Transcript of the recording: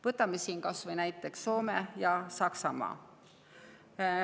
Võtame kas või Soome ja Saksamaa.